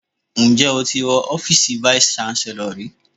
Ǹjẹ́ o ti wọ ọ́fíìsì vice Chancellor rí?